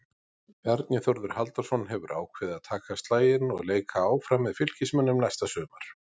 Bjarni Þórður Halldórsson hefur ákveðið að taka slaginn og leika áfram með Fylkismönnum næsta sumar.